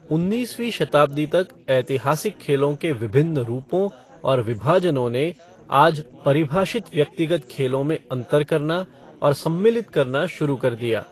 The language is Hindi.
उन्नीसवीं शताब्दी तक, ऐतिहासिक खेलों के विभिन्न रूपों और विभाजनों ने आज परिभाषित व्यक्तिगत खेलों में अंतर करना और सम्मिलित करना शुरू कर दिया।